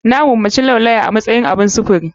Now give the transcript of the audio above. Na gomaci laulawa a matsayin abun sufuri.